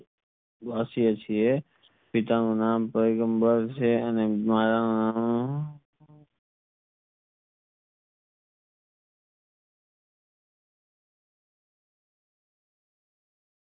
પિતાનું નામ પૈગમ્બર છે અને માતાનું નામ